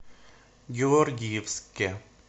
георгиевске